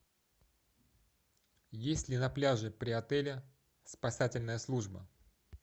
есть ли на пляже при отеле спасательная служба